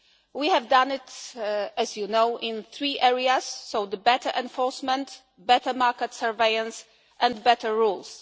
We have done it, as you know, in three areas better enforcement, better market surveillance and better